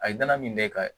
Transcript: A ye danaya min kɛ ka